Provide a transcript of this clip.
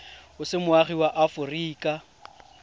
o se moagi wa aforika